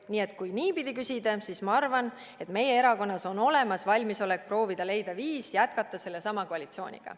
Nii et kui niipidi küsida, siis ma arvan, et meie erakonnas on olemas valmisolek proovida leida viis jätkata sellesama koalitsiooniga."